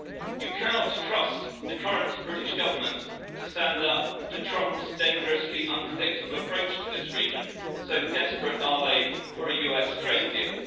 You cannot trust the current British Government to stand up to Trump's dangerously unpredictable approach to this region, so desperate are they for a US trade deal.